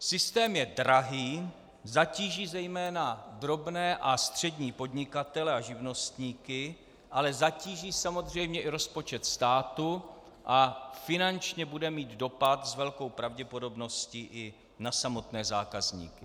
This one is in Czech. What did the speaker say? Systém je drahý, zatíží zejména drobné a střední podnikatele a živnostníky, ale zatíží samozřejmě i rozpočet státu a finančně bude mít dopad s velkou pravděpodobností i na samotné zákazníky.